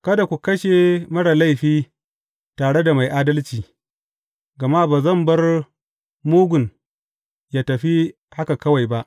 Kada ku kashe marar laifi tare da mai adalci, gama ba zan bar mugun yă tafi haka kawai ba.